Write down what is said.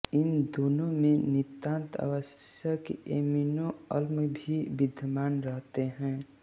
इन दोनों में नितांत आवश्यक ऐमिनोअम्ल भी विद्यमान रहते हैं